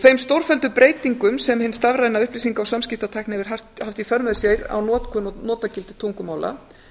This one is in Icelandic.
þeim stórfelldu breytingum sem hin stafræna upplýsinga og samskiptatækni hefur haft í för með sér á notkun og notagildi tungumála